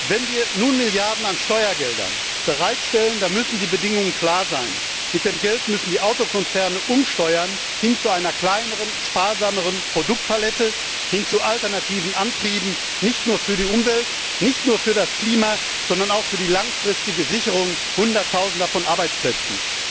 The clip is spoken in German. Wenn wir nun Milliarden an Steuergeldern bereitstellen, dann müssen die Bedingungen klar sein Mit dem Geld müssen die Autokonzerne umsteuern hin zu einer kleineren, sparsameren Produktpalette, hin zu alternativen Antrieben nicht nur für die Umwelt, nicht nur für das Klima, sondern auch für die langfristige Sicherung hunderttausender Arbeitsplätze.